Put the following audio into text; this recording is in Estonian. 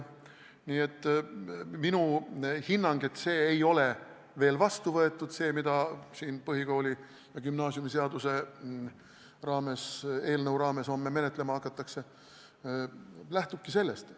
Nii et minu hinnang, et see ei ole veel vastu võetud, see, mida siin põhikooli- ja gümnaasiumiseaduse eelnõu raames homme menetlema hakatakse, lähtubki sellest.